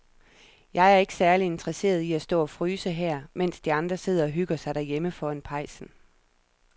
Jeg er ikke særlig interesseret i at stå og fryse her, mens de andre sidder og hygger sig derhjemme foran pejsen.